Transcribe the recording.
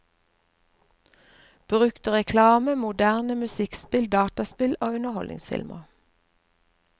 Brukte reklame, moderne musikkspill, dataspill og underholdningsfilmer.